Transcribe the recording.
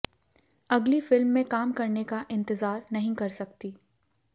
अगली फिल्म में काम करने का इंतजार नहीं कर सकती